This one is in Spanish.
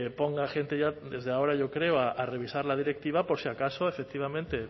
ponga gente ya desde ahora yo creo a revisar la directiva por si acaso efectivamente